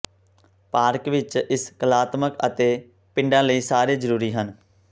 park ਵਿਚ ਇਸ ਕਲਾਤਮਕ ਅਤੇ ਪਿੰਡਾਂ ਲਈ ਸਾਰੇ ਜਰੂਰੀ ਹਨ